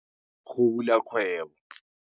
Go bula kgwebo.